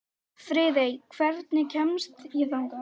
Friðey, hvernig kemst ég þangað?